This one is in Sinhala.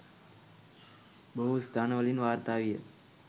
බොහෝ ස්ථාන වලින් වාර්තා විය